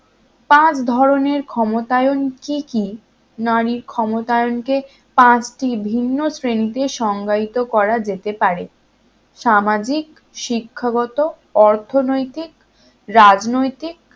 পাঁচ ধরনের ক্ষমতায়ন কি কি? নারীর ক্ষমতায়নকে পাঁচটি ভিন্ন শ্রেণীতে সংজ্ঞায়িত করা যেতে পারে সামাজিক শিক্ষাগত অর্থনৈতিক রাজনৈতিক